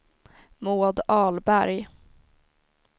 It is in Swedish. Maud Ahlberg